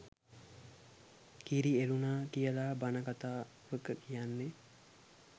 කිරි එලුනා කියලා බන කතා වක කියන්නේ